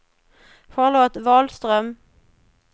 Charlotte Wahlström